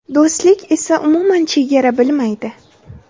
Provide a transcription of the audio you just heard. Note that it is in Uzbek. Do‘stlik esa umuman chegara bilmaydi!